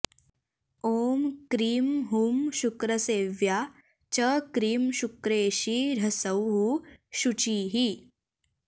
ॐ क्रीं हूं शुक्रसेव्या च क्रीं शुक्रेशी ह्सौः शुचिः